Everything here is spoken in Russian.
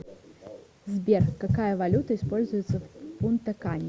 сбер какая валюта используется в пунта кане